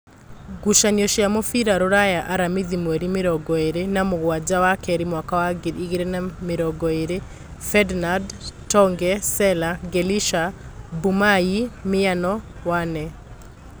Ngucanio cia mũbira Ruraya Aramithi mweri mĩrongoĩrĩ namũgwanja wakeeri mwaka wa ngiri igĩrĩ na namĩrongoĩrĩ: Fednad, Tonge, Sela, Ngelisha, Mbumayĩ, Mĩano, Wane